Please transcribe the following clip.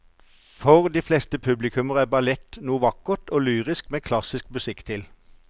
For de fleste publikummere er ballett noe vakkert og lyrisk med klassisk musikk til.